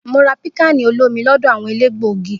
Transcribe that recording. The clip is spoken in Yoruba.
Mo rà pikkani olomi lọdọ awọn elégbògi.